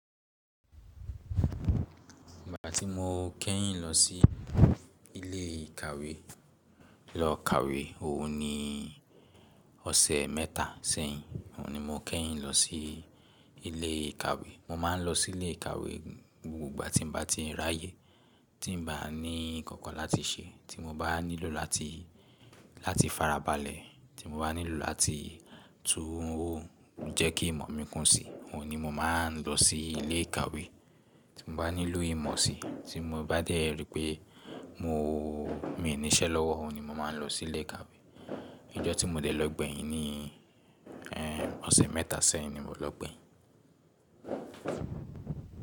Ìgbà tí mo kẹ́yìn lọ sí ilé ìkàwé lọ kàwé, òhun ni ọ̀sẹ̀ mẹ́ta sẹ́yìn. Òhun ni mo kẹ́yìn lọ sí ilé ìkàwé. Mo má ń lọ sí ilé ìkàwé, ní gbogbo ìgbà tí ń bá ti ráyè, tí ń bá ní nkankan láti ṣe, tí mo bá nílò láti farabalẹ̀, tí mo bá nílò láti tún jẹ ki imo kún sì, ohun ni mo má ń lọ sí ilé ìkàwé. Tí mo bá nílò ìmọ̀ si, tí mo bá dé rí i pé mo, mi ní iṣẹ́ lọ́wọ́, òhun ni mo máa ń lọ sí ilé ìkàwé. Ọjọ́ tí mo dé lọ gbẹ̀yin ni, ọ̀sẹ̀ mẹ́ta sẹ́yìn ni mo lọ gbẹ̀yin.